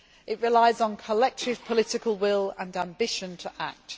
let it be. It relies on collective political will and ambition